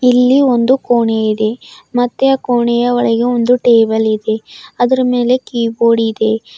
ಇಲ್ಲಿ ಒಂದು ಕೋಣೆ ಇದೆ ಮತ್ತೆ ಕೋಣೆಯ ಒಳಗೆ ಒಂದು ಟೇಬಲ್ ಇದೆ ಅದರ ಮೇಲೆ ಕೀಬೋರ್ಡ್ ಇದೆ.